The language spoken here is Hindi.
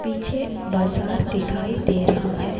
पीछे बाजार दिखाई दे रहा है।